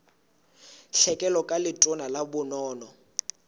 tlhekelo ka letona la bonono